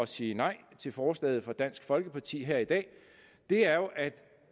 sige nej til forslaget fra dansk folkeparti her i dag er jo at